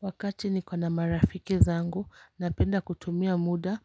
Wakati nikiwa na marafiki zangu napenda kutumia muda